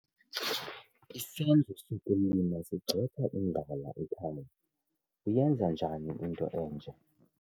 Isenzo sokulima sigxotha indlala ekhaya. uyenza njani into enje?